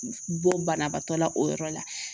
Bɔ banabaatɔ la o yɔrɔ la